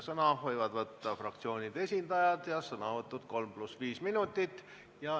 Sõna võivad võtta fraktsioonide esindajad ja sõnavõtud võivad kesta kolm pluss viis minutit.